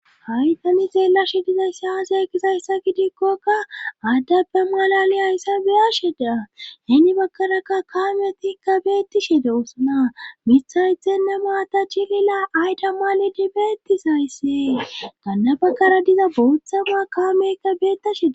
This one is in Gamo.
haytani xeelashi dizayays aze gizaysa gidikkokka addappe malali hayssabeyasheda heni bakarakka kaamyotikka beetti she de usna mishaythenne maata chilila ayda male dibeettisayssee gannabakara diza boothama kaamekka beetasheda